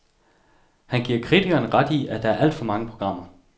Han giver kritikerne ret i, at der er alt for mange programmer.